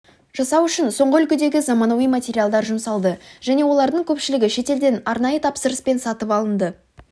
жасау үшін соңғы үлгідегі заманауи материалдар жұмсалды және олардың көпшілігі шетелден арнайы тапсырыспен сатып алынды